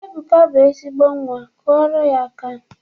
Ebuka bụ ezigbo nnwa, kụọrọ ya aka!